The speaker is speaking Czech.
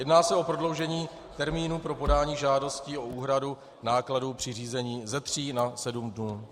Jedná se o prodloužení termínů pro podání žádostí o úhradu nákladů při řízení ze 3 na 7 dnů.